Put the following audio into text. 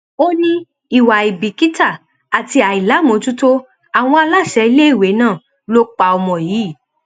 ó ní ìwà àìbìkítà àti àìlàámọjútó àwọn aláṣẹ iléèwé náà ló pa ọmọ yìí